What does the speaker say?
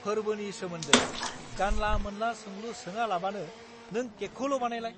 फोर्बोनि सोमोन्दै जानला-मोनला सोंलु सोङालाबानो नों केकखौल' बानायलाय!